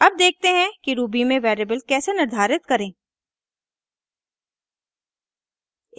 अब देखते हैं कि ruby में वेरिएबल कैसे निर्धारित करें